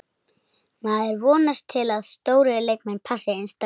Maður vonast til að stórir leikmenn passi inn strax.